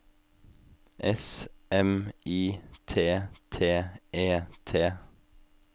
S M I T T E T